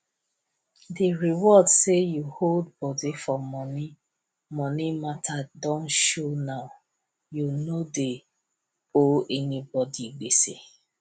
di reward say u hold body for money money mata don show now u no dey owe anybody gbese